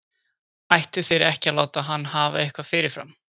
Ættu þeir ekki að láta hann hafa eitthvað fyrirfram?